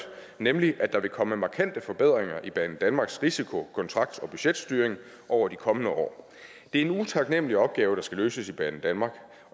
nemlig at der vil komme markante forbedringer i banedanmarks risiko kontrakt og budgetstyring over de kommende år det er en utaknemlig opgave der skal løses i banedanmark